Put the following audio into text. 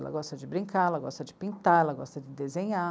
Ela gosta de brincar, ela gosta de pintar, ela gosta de desenhar.